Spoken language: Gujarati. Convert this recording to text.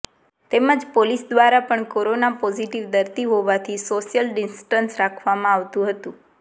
તેમજ પોલીસ દ્વારા પણ કોરોના પોઝીટીવ દર્દી હોવાથી સોશીયલ ડીસ્ટન્સ રાખવામાં આવતુ હતુ